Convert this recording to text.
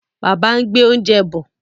Bàbá ń gbé oúnjẹ bọ̀.